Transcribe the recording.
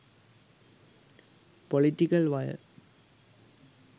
political wire